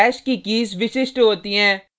hash की keys विशिष्ट होती हैं